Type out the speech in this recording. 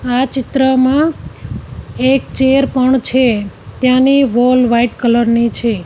આ ચિત્રમાં એક ચેર પણ છે તેની વોલ વાઈટ કલર ની છે.